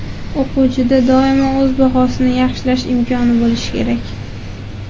O‘quvchida doimo o‘z bahosini yaxshilash imkoni bo‘lishi kerak.